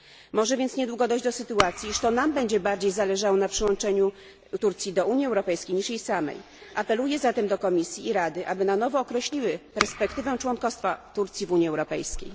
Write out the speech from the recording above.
Może więc niedługo dojść do sytuacji, iż to nam będzie bardziej zależało na przyłączeniu Turcji do Unii Europejskiej niż jej samej. Apeluję zatem do Komisji i Rady, aby na nowo określiły perspektywę członkostwa Turcji w Unii Europejskiej.